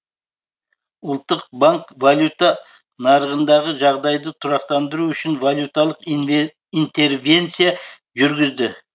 ұлттық банк валюта нарығындағы жағдайды тұрақтандыру үшін валюталық интервенция жүргізді